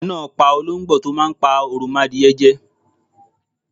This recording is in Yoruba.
Baba náa pa olóngbò tó máa n jẹ òròmoadìye